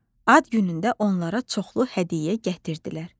Ad günündə onlara çoxlu hədiyyə gətirdilər.